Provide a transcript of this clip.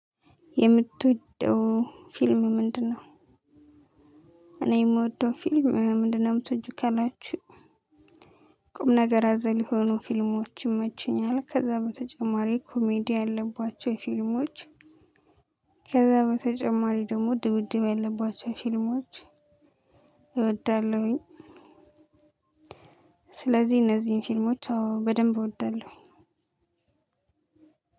የምትወደው ፊልም ምንድነው? እኔ የምወደው ፊልም ምንድነው የምትወጂው ካላችሁ ቁም ነገር አዘል የሆኑ ፊልሞች ይመችኛል ከዛ በተጨማሪ ኮሜዲ ያለባቸው ፊልሞች። ከዛ በተጨማሪ ደግሞ ድብደብ ያለባቸው ፊልሞች። እወዳለሁኝ። ስለዚህ እነዚህን ፊልሞች በደንብ እወደለሁ።